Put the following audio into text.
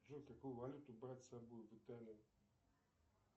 джой какую валюту брать с собой в италию